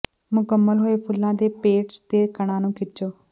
ਮੁਕੰਮਲ ਹੋਏ ਫੁੱਲਾਂ ਦੇ ਪੇਂਟਸ ਤੇ ਕਣਾਂ ਨੂੰ ਖਿੱਚੋ